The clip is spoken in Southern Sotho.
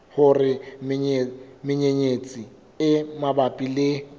hore menyenyetsi e mabapi le